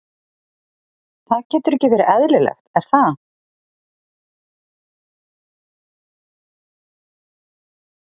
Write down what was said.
Það getur ekki verið eðlilegt, er það?